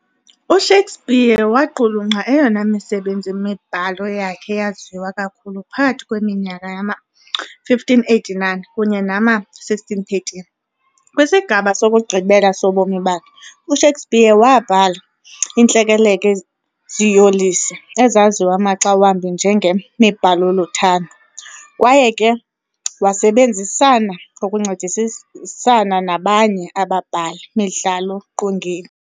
U-Shakespeare waqulunqa eyona misebenzi-mibhalo yakhe yaziwa kakhulu phakathi kweminyaka yama-1589 kunye nama-1613. Kwisigaba sokugqibela sobomi bakhe, u-Shakespeare waabhala iintlekele-ziyolisi, ezaziwa maxa wambi njenge-mibhalo-luthando, kwaye ke wasebenzisana ngokuncedisisana nabanye ababhali-midlalo-qongeni.